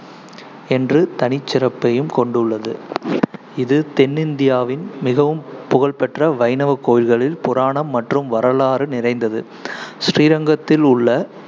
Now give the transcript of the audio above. என்று தனிச்சிறப்பையும் கொண்டுள்ளது இது தென்னிந்தியாவின் மிகவும் புகழ்பெற்ற வைணவ கோவில்களில் புராணம் மற்றும் வரலாறு நிறைந்தது. ஸ்ரீரங்கத்தில் உள்ள